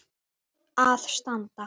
að standa.